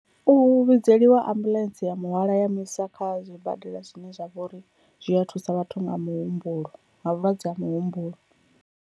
U vhidzeliwa ambuḽentse ya muhwalo ya muisa kha zwibadela zwine zwa vha uri zwi a thusa vhathu nga muhumbulo nga vhulwadze ha muhumbulo.